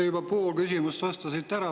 Te juba pool küsimust vastasite ära.